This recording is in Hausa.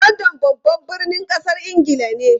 London babban birnin kasar Ingila ne.